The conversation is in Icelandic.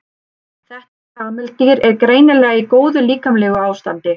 þetta kameldýr er greinilega í góðu líkamlegu ástandi